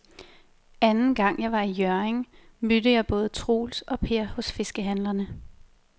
Anden gang jeg var i Hjørring, mødte jeg både Troels og Per hos fiskehandlerne.